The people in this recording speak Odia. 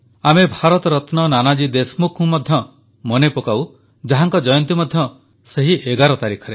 ଆମେ ଭାରତରତ୍ନ ନାନାଜୀ ଦେଶମୁଖଙ୍କୁ ମଧ୍ୟ ମନେ ପକାଉ ଯାହାଙ୍କ ଜୟନ୍ତୀ ମଧ୍ୟ ସେହି 11 ତାରିଖରେ